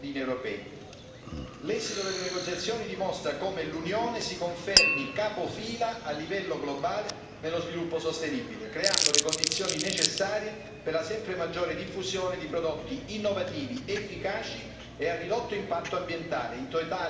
L'esito delle negoziazioni dimostra come l'Unione si confermi capofila a livello globale nello sviluppo sostenibile, creando le condizioni necessarie per la sempre maggiore diffusione di prodotti innovativi, efficaci e a ridotto impatto ambientale, in totale coerenza con il modello di economia circolare.